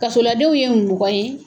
Kasoladenw ye mɔgɔ ye.